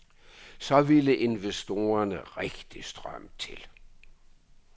Så ville investorerne rigtigt strømme til.